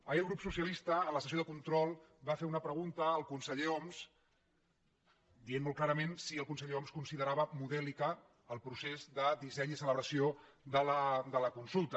ahir el grup socialista en la sessió de control va fer una pregunta al conseller homs i va dir molt clarament si el conse·ller homs considerava modèlic el procés de disseny i celebració de la consulta